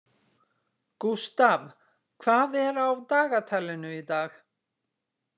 Gústav, hvað er á dagatalinu í dag?